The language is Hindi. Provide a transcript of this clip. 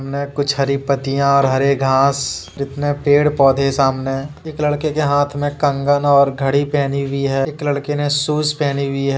मैं कुछ हरी पतियाँ और हरे घास जितने पेड़ पौधे है सामने एक लड़के के हाथ मे कंगन और घड़ी पहनी हुई है। एक लड़के ने शूज़ पहनी हुई है।